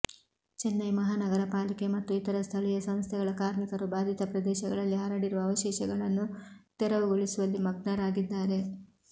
ಚೆನ್ನೈ ಮಹಾನಗರ ಪಾಲಿಕೆ ಮತ್ತು ಇತರ ಸ್ಥಳೀಯ ಸಂಸ್ಥೆಗಳ ಕಾರ್ಮಿಕರು ಬಾಧಿತ ಪ್ರದೇಶಗಳಲ್ಲಿ ಹರಡಿರುವ ಅವಶೇಷಗಳನ್ನು ತೆರವುಗೊಳಿಸುವಲ್ಲಿ ಮಗ್ನರಾಗಿದ್ದಾರೆ